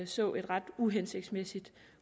så et ret uhensigtsmæssigt